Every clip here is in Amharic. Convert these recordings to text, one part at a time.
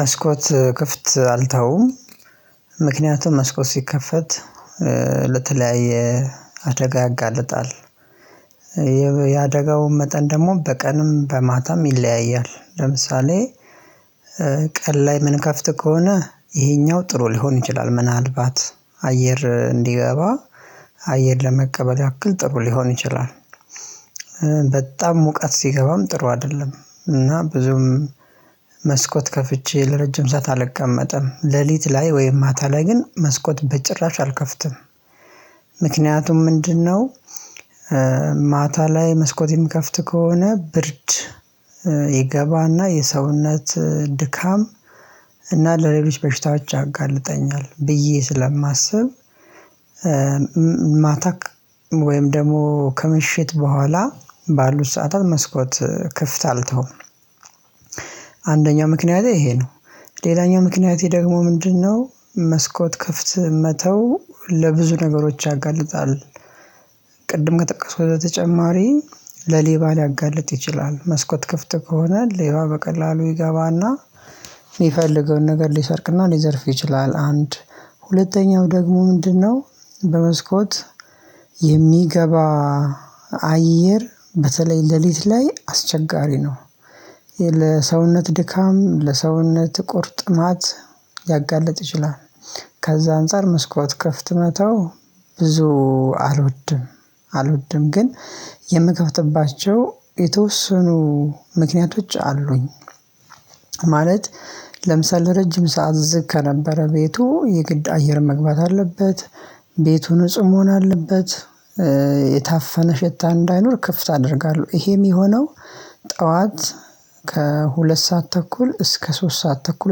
መስኮት ክፍት አልተውም ምክንያቱም መስኮት ሲከፈት ለተለያየ አደጋ ያጋልጣል። የአደጋው መጠን ደሞ በቀንም በማታም ይለያያል ለምሳሌ ቀን ላይ ምንከፍት ከሆነ ይሄኛው ጥሩ ሊሆን ይችላል ምናልባት አየር እንዲገባ አየር ለመቀበል ያክል ጥሩ ሊሆን ይችላል። በጣም ሙቀት ሲገባም ጥሩ አደለም እና ብዙም መስኮት ከፍቼ ለረጅም ሰዓት አልቀመጥም ሌሊት ላይ ወይም ማታ ላይ ግን መስኮት በጭራሽ አልከፍትም። ምክንያቱም ምንድነው? ማታ ላይ መስኮት የምከፍት ከሆነ ብርድ ይገባና የሰውነት ድካም እና ለሌሎች በሽታዎች ያጋልጠኛል ብዬ ስለማስብ። ማታ ወይም ደሞ ከምሽት በኋላ ባሉት ሰዓታት መስኮት ክፍት አልተውም። አንደኛ ምክንያቴ እሄ ነው ሌላኛው ምክንያቴ ደግሞ ምንድነው? መስኮት ክፍት መተው ለብዙ ነገሮች ያጋልጣል። ቅድም ከጠቀስኩት በተጨማሪ ለሌባ ሊያጋልጥ ይችላል መስኮት ክፍት ከሆነ ሌባ በቀላሉ ይገባና የፈለገውን ነገር ሊሰርቅና ሊዘርፍ ይችላል። አንድ ሁለተኛው ደግሞ ምንድነው? በመስኮት የሚገባ አየር በተለይ ሌሊት ላይ አስቸጋሪ ነው። ለሰውነት ድካም ለሰውነት ቁርጥማት ሊያጋልጥ ይችላል ከዛ አንፃር መስኮት ክፍት መተው ብዙ አልወድም። አልወድም ግን የምከፍትባቸው የተወሰኑ ምክንያቶች አሉኝ። ማለት ለምሳሌ ለረጅም ሰዓት ዝግ ከነበረ ቤቱ የግድ አየር መግባት አለበት ቤቱ ንጹህ መሆን አለበት። የታፈነ ሽታ እንዳይኖር ክፍት አደርጋለው እሄ የሚሆነው ጥዋት ከሁለት ሰዓት ተኩል እስከ ሶስት ሰዓት ተኩል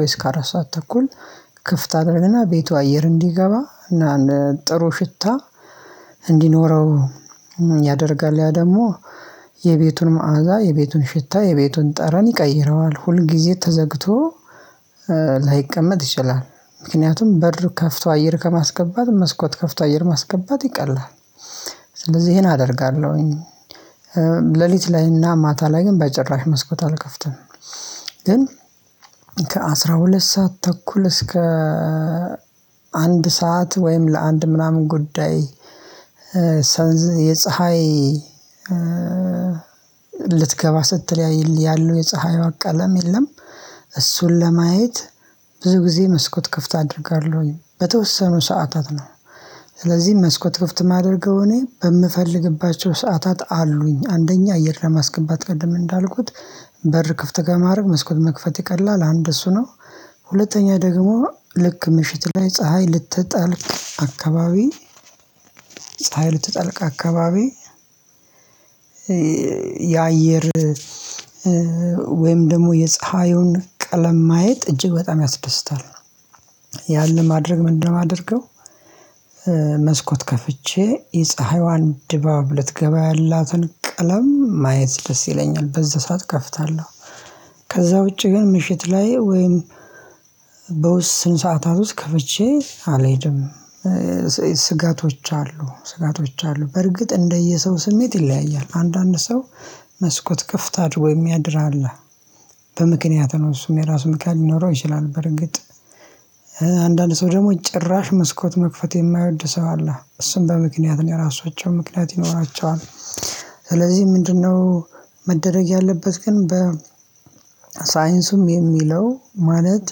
ወይ እስከ አራት ሰዓት ተኩል ክፍት አደርግና ቤቱ አየር እንዲገባ እና ጥሩ ሽታ እንዲኖረው ያደርጋል። ያ ደሞ የቤቱን መዓዛ የቤቱን ሽታ የቤቱን ጠረን ይቀይረዋል ሁል ጊዜ ተዘግቶ ላይቀመጥ ይችላል። ምክንያቱም በር ከፍቶ አየር ከማስገባት መስኮት ከፍቶ አየር ማስገባት ይቀላል። ስለዚህ ይሄን አደርጋለሁኝ። ሌሊት ላይና ማታ ላይ ግን በጭራሽ መስኮት አልከፍትም። ግን ከአስራ ሁለት ሰዓት ተኩል እስከ አንድ ሰዓት ወይም ለአንድ ምናምን ጉዳይ የፀሀይ ልትገባ ስትል ያለው የፀሀይዋ ቀለም የለም። እሱን ለማየት ብዙ ጊዜ መስኮት ክፍት አድርጋለሁኝ በተወሰኑ ሰዓታት ነው። ስለዚህ መስኮት ክፍት ማደርገው እኔ በምፈልግባቸው ሰዓታት አሉኝ አንደኛ አየር ለማስገባት ቅድም እንዳልኩት በር ክፍት ከማረግ መስኮት መክፈት ይቀላል አንድ እሱ ነው። ሁለተኛ ደግሞ ልክ ምሽት ላይ ፀሀይ ልትጠልቅ አካባቢ ፀሀይ ልትጠልቅ አካባቢ የአየር ወይም ደግሞ የፀሀዩን ቀለም ማየት እጅግ በጣም ያስደስታል። ያን ለማድረግ ምንድነው? ማደርገው መስኮት ከፍቼ የፀሀይዋን ድባብ ልትገባ ያላትን ቀለም ማየት ደስ ይለኛል በዛ ሰዓት እከፍታለው። ከዛ ውጪ ግን ምሽት ላይ ወይም በውስን ሰዓታት ውስጥ ከፍቼ አልሄድም። ስጋቶች አሉ ስጋቶች አሉ በርግጥ እንደየሰው ስሜት ይለያያል አንዳንድ ሰው መስኮት ክፍት አድርጎ ወይም የሚያድር አለ። በምክንያት ነው እሱም የራሱ ምክንያት ሊኖረው ይችላል በእርግጥ አንዳንድ ሰው ደሞ ጭራሽ መስኮት መክፈት የማይወድ ሰው አለ እሱን በምክንያት ነው የራሳቸው ምክንያት ይኖራችዋል። ስለዚህ ምንድነው? መደረግ ያለበት ግን በ ሳይንሱም የሚለው ማለት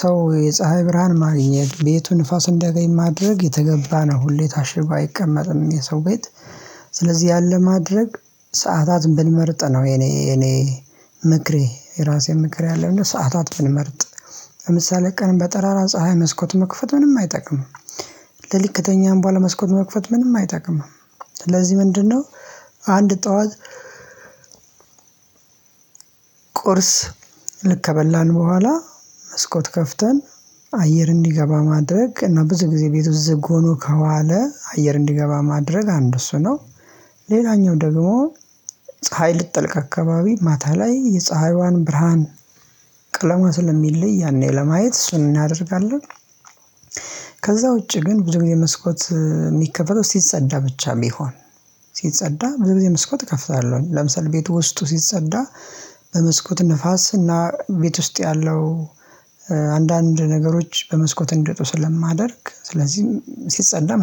ሰው የፀሀይ ብርሃን ማግኘት ቤቱን ንፋስን እንድያገኝ ማድረግ የተገባ ነው። ሁሌ ታሽጎ አይቀመጥም የሰው ቤት ስለዚህ ያን ለማድረግ ሰዓታትን ብንመርጥ ነው። የኔ የኔ ምክሬ የራሴን ምክሬ አለ እና ሰዓታት ብንመርጥ ለምሳሌ ቀን በጠራራ ፀሀይ መስኮት መክፈት ምንም አይጠቅምም። ልክ ከተኛን በሃላ መስኮት መክፈት ምንም አይጠቅምም። ስለዚህ ምንድነው? አንድ ጥዋት ቁርስ ልክ ከበላን በኋላ መስኮት ከፍተን አየር እንዲገባ ማድረግ እና ብዙ ጊዜ ቤቱ ዝግ ሆኖ ከዋለ አየር እንዲገባ ማድረግ አንድ እሱ ነው። ሌላኛው ደግሞ ፀሀይ ልትጠልቅ አካባቢ ማታ ላይ የፀሀይዋን ብርሃን ቀለምዋ ስለሚለይ ያኔ ለማየት እሱን እናደርጋለን። ከዛ ውጪ ግን ብዙ ጊዜ መስኮት የሚከፍተው ሲጸዳ ብቻ ሚሆን ሲጸዳ ብዙ ጊዜ መስኮት እከፍታለሁኝ ለምሳሌ ቤቱ ውስጡ ሲጸዳ በመስኮት ንፋስ እና ቤት ውስጥ ያለው አንዳንድ ነገሮች በመስኮት እንዴት ስለማደርግ ስለዚህም ሲጸዳ